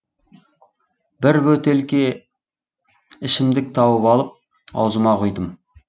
бір бөтелке ішімдік тауып алып аузыма құйдым